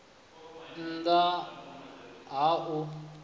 nn ḓ a ha u